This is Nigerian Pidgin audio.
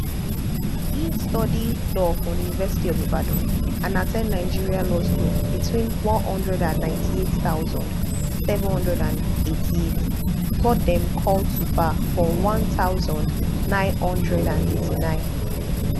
e study law for university of ibadan and at ten d nigerian law school between one hundred and ninety-eight thousand, seven hundred and eighty-eight before dem call to bar for one thousand, nine hundred and eighty-nine